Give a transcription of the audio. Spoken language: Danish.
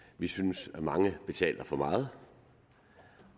vi synes at mange betaler for meget